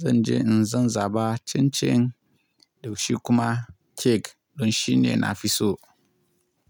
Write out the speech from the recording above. zan je in zan zaba cin cin da shi kuma kek don shi ne nafi so.